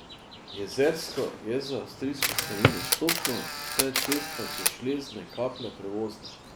Jezersko je z avstrijske strani dostopno, saj je cesta do Žlezne Kaple prevozna.